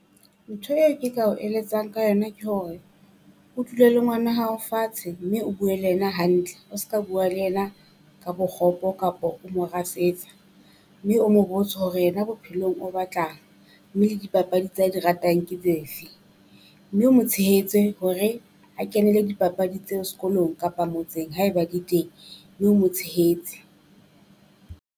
Ntho eo ke ka ho eletsang ka yona ke hore o dule le ngwana hao fatshe mme o bue le ena hantle, o ska bua le ena ka bokgopo kapo o mo rasetsa. Mme o mo botse hore ena bophelong o batlang, mme le dipapadi tsa di ratang ke tse fe, mme o mo tshehetse hore a kenele dipapadi tseo sekolong kapa motseng. Haeba de teng mme o mo tshehetse.